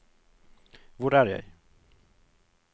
hvor er jeg